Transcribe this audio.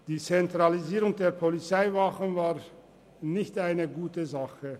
Die Zentralisierung der Polizeiwachen ist aus unserer Sicht nicht positiv zu werten.